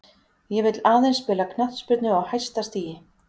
Ég vill aðeins spila knattspyrnu á hæsta stigi.